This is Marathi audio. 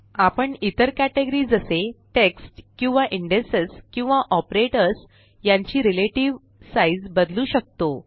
आपण इतर केटगरी जसे टेक्स्ट किंवा इंडेक्सेस किंवा ऑपरेटर्स यांची रिलेटिव साइज़ बदलू शकतो